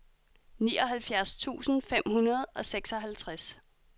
nioghalvfjerds tusind fem hundrede og seksoghalvtreds